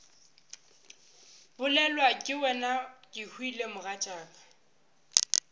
bolelwa ke wena kehwile mogatšaka